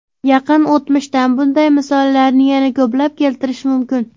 Yaqin o‘tmishdan bunday misollarni yana ko‘plab keltirish mumkin.